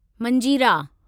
मंजीरा